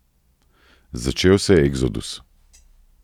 Začel se je eksodus.